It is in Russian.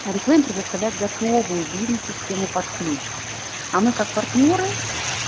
орифлэйм предоставляет готовую бизнес систему под ключ а мы как партнёры